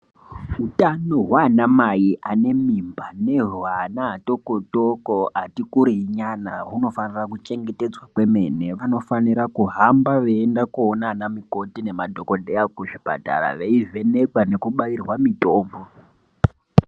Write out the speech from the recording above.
Hutano hwana mai ane mimba nehwana atoko toko atikurei nyana hunofanira kuchengetedzwa kwemene vanofanira kuhamba veienda koona ana mukoti nemadhokoteya kuti zvipatara veivhenekwa nekubairwa mitombo.